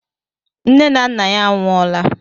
Nne na nna ya anwụọla